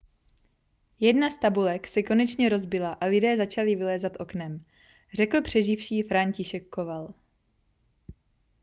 jedna z tabulek se konečně rozbila a lidé začali vylézat oknem řekl přeživší franciszek kowal